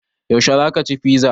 Yaushe za ka ci fiza?